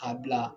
K'a bila